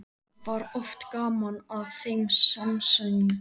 Það var oft gaman að þeim samsöng.